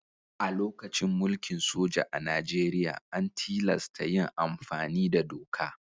A lokacin mulkin soja a Najeriya, an tilasta yin amfani da doka.